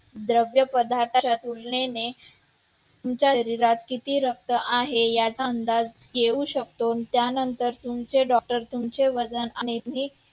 द्रव्य पदार्थाच्या तुलनेने तुमच्या शरीरात किती रक्त आहे याचा अंदाज येऊ शकतो त्यानंतर तुमचे doctor तुमचे वजन